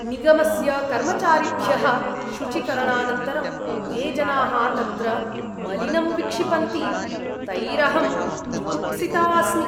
निगमस्य कर्मचारिभ्यः शुचीकरणानन्तरं ये जनाः तत्र मलिनं विक्षिपन्ति तैरहं जुगुप्सिता अस्मि।